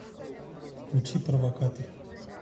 включи провокатор